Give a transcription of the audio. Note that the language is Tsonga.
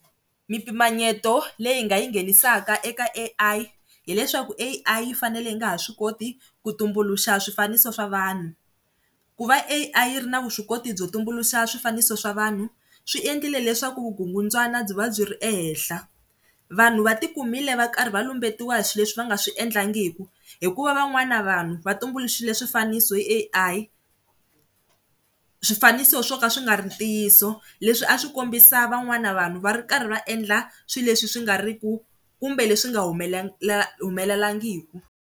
Mi mpimanyeto leyi nga yi nghenisaka eka A_I hileswaku A_I yi fanele yi nga ha swi koti ku tumbuluxa swifaniso swa vanhu ku va A_I yi ri na vuswikoti byo tumbuluxa swifaniso swa vanhu swi endlile leswaku vukungundzwana byi va byi ri ehenhla. Vanhu va ti kumile va karhi va lumbetiwa swi leswi va nga swi endlangi hikuva van'wana vanhu va tumbuluxile swifaniso hi A_I. Swifaniso swo ka swi nga ri ntiyiso leswi a swi kombisa van'wana vanhu va ri karhi va endla swilo leswi swi nga ri ku kumbe leswi nga humela helelangiku.